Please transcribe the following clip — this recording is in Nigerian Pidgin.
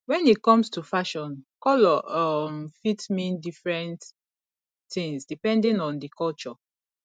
when e comes to fashion colour um fit mean different things depending on di culture